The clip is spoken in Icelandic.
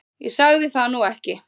Ég sagði það nú ekki